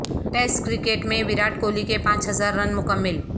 test cricket میں وراٹ کوہلی کے پانچ ہزار رن مکمل